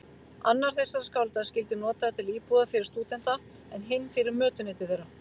Annar þessara skála skyldi notaður til íbúðar fyrir stúdenta, en hinn fyrir mötuneyti þeirra.